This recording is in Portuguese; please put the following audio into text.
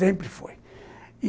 Sempre foi.